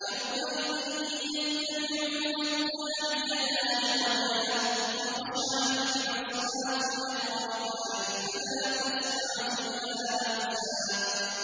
يَوْمَئِذٍ يَتَّبِعُونَ الدَّاعِيَ لَا عِوَجَ لَهُ ۖ وَخَشَعَتِ الْأَصْوَاتُ لِلرَّحْمَٰنِ فَلَا تَسْمَعُ إِلَّا هَمْسًا